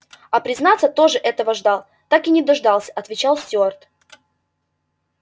я признаться тоже этого ждал да так и не дождался отвечал стюарт